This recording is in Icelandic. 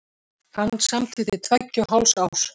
Hann samdi til tveggja og hálfs árs.